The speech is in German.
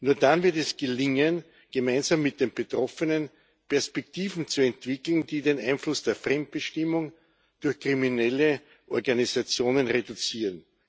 Nur dann wird es gelingen, gemeinsam mit den Betroffenen Perspektiven zu entwickeln, die den Einfluss der Fremdbestimmung durch kriminelle Organisationen reduzieren.